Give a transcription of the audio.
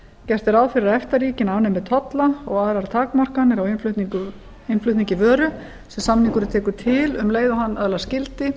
gert er ráð fyrir að efta ríkin afnemi tolla og aðrar takmarkanir á innflutningi vöru sem samningurinn tekur til um leið og hann öðlast gildi